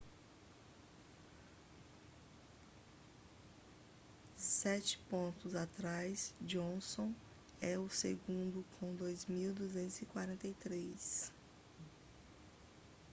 sete pontos atrás johnson é o segundo com 2.243